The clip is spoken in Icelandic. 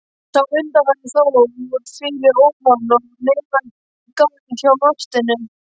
Sá undanfari fór fyrir ofan og neðan garð hjá Marteini.